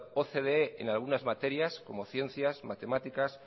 ocde en algunas materias como ciencias matemáticas